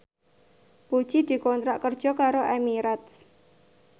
Puji dikontrak kerja karo Emirates